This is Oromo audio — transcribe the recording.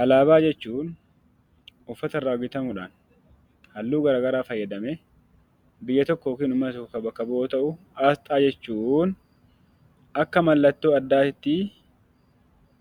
Alaabaa jechuun uffata irraa bitamuudhaan halluu garaagaraa fayyadamee biyya tokko yookiin hawaasa bakka bu'u yoo ta'u, asxaa jechuun akka mallattoo addaatti